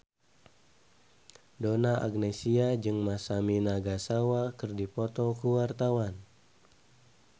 Donna Agnesia jeung Masami Nagasawa keur dipoto ku wartawan